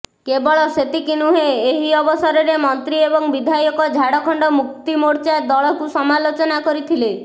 କେବଳ ସେତିକି ନୁହେଁ ଏହି ଅବସରରେ ମନ୍ତ୍ରୀ ଏବଂ ବିଧାୟକ ଝାଡଖଣ୍ଡ ମୁକ୍ତି ମୋର୍ଚ୍ଚା ଦଳକୁ ସମାଲୋଚନା କରିଥିଲେ